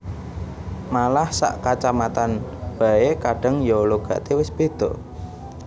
Malah sak kacamatan bae kadang ya logate wis beda